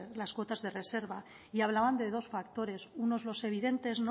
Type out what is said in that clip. las cuotas de reserva y hablaban de dos factores unos los evidentes